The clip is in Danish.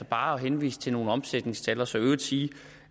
bare at henvise til nogle omsætningstal og så i øvrigt sige